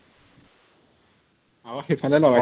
অ সেইফালে লগাইছে